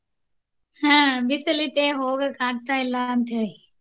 ಆಹ್ ಬಿಸಿಲ ಐತಿ ಹೋಗೋಕ ಆಗ್ತಾ ಇಲ್ಲಾ ಅಂತ ಹೇಳಿ.